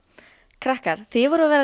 krakkar þið voruð að verða